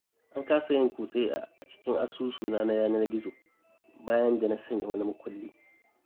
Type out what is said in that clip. An kasa yin kutse a cikin asusuna na yanar-gizo, bayan da na sanya wani makulli.